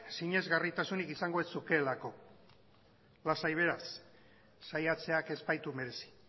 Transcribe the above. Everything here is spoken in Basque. sinesgarritasunik izango ez zukeelako lasai beraz saiatzeak ez baitu merezi